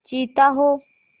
चीता हो